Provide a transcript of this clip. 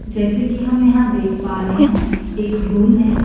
जैसे कि हम यहां देख पा रहे हैं एक रूम है।